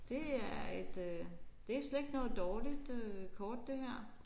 Det er et øh det er slet ikke noget dårligt øh kort det her